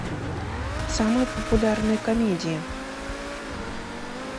самые популярные комедии